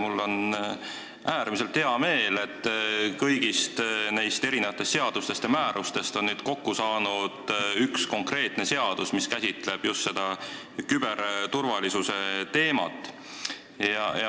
Mul on äärmiselt hea meel, et eri seadustest ja määrustest on kokku saanud üks konkreetne seadus, mis käsitleb just küberturvalisuse teemat.